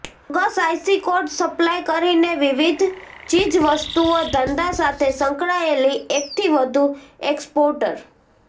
bogus IC code supply કરીને વિવિધ ચીજ વસ્તુઓ ધંધા સાથે સંકળાયેલી એકથી વધુ એક્સપોર્ટર